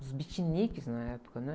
Os beatniks na época, né?